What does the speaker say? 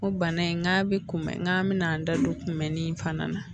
O bana in n k'a bɛ kunbɛn n k'an bɛna an da don kunbɛn ni fana na